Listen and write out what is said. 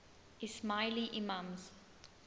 ismaili imams